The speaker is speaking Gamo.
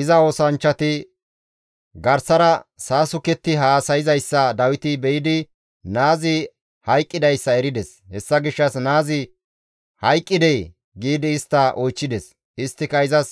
Iza oosanchchati garsara saasuketti haasayzayssa Dawiti be7idi naazi hayqqidayssa erides; hessa gishshas, «Naazi hayqqidee?» giidi istta oychchides. Isttika izas,